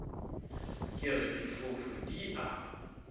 ke re difofu di a